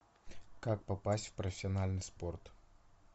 как попасть в профессиональный спорт